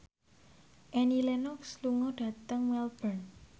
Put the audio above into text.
Annie Lenox lunga dhateng Melbourne